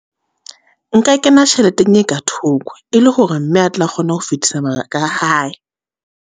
Nka kena tjheleteng e ka thoko, e le hore mme a tle a kgone ho fetisa mabaka hae.